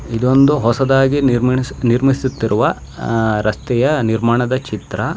ಇದೊಂದು ಹೊಸದಾಗಿ ನಿರ್ಮಿಣಿ ನಿರ್ಮಿಸುತ್ತಿರುವ ಅಹ್ ರಸ್ತೆಯ ನಿರ್ಮಾಣದ ಚಿತ್ರಾ --